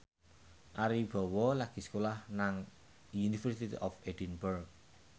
Ari Wibowo lagi sekolah nang University of Edinburgh